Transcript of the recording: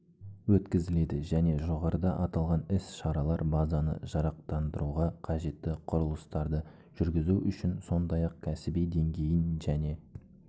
өткізіледі және жоғарыда аталған іс-шаралар базаны жарақтандыруға қажетті құрылыстарды жүргізу үшін сондай-ақ кәсіби деңгейін және